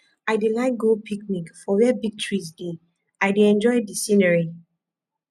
i dey like go picnic for where big trees dey i dey enjoy de scenery